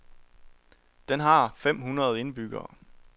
Den har fem hundrede indbyggere.